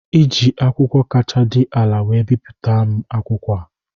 Iji akwụkwọ kacha dị ala wee bipụta m akwụkwọ a